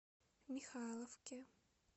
михайловке